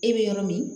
E bɛ yɔrɔ min